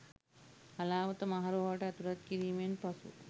හලාවත මහ රෝහලට ඇතුළත් කිරීමෙන් පසුව